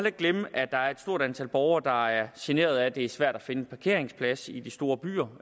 ikke glemme at der er stort antal borgere der er generet af at det er svært at finde en parkeringsplads i de store byer